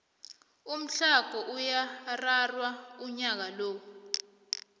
umthlago uyararhwa unyaka lo